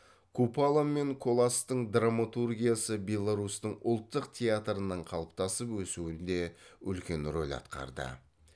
купала мен коластың драматургиясы беларусьтің ұлттық театрының қалыптасып өсуінде үлкен рөл атқарды